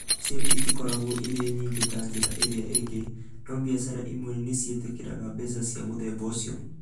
Icio itikoragwo irĩ nyingĩ ta njĩra iria ingĩ, no biacara imwe nĩ ciĩtĩkagĩra mbeca cia mũthemba ũcio.